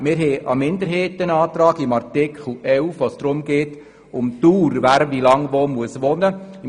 Wir haben einen Minderheitsantrag zu Artikel 11, bei dem es um die Dauer geht, wie lange jemand in einer Gemeinde wohnen muss.